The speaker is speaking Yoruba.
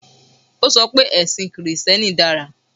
O sọ pé ẹ̀sìn Kìrìsítíẹ́nì dára